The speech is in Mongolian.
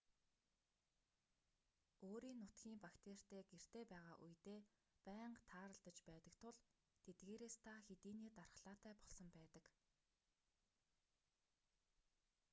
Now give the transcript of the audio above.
өөрийн нутгийн бактеритай гэртээ байгаа үедээ байнга тааралдаж байдаг тул тэдгээрээс та хэдийнээ дархлаатай болсон байдаг